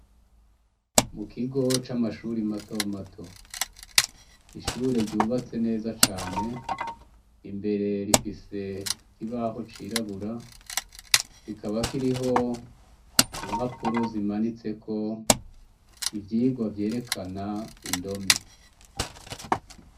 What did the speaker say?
Mu kigo c'amashure mato mato N'ishure ryubatse neza cane .Imbere rifise ikibaho cirabura, kikaba kiriho impapuro zimanitseko icyigwa vyerekana indome.